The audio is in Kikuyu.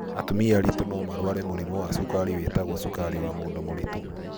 Atumia aritũ no marware mũrimũ wa cukari wĩtagwo cukari wa mũndũ mũritũ.